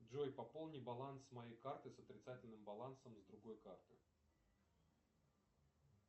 джой пополни баланс моей карты с отрицательным балансом другой карты